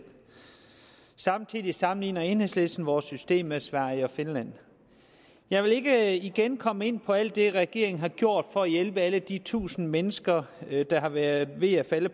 samtidig sammenligner enhedslisten vores system med sveriges og finlands jeg vil ikke igen komme ind på alt det regeringen har gjort for at hjælpe alle de tusinde mennesker der har været ved at falde